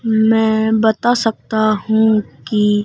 मैं बता सकता हूं कि--